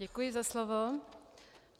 Děkuji za slovo.